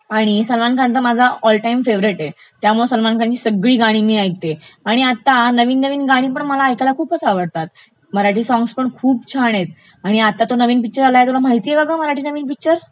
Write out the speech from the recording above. आणि सलमान खान तर माझा ऑल टाइम फेवरेट आहे, त्यामुळे सलमान खानची सगळी गाणी मी ऐकते, आणि आता नवीन नवीन गाणी ऐकायला पण मला खूपचं आवडतात, मराठी सॉग्सपण खूप छान आहेत, आणि आता तो नवीन पिक्चर आलाय, तुला माहितेय काग मराठी नवीन पिक्चर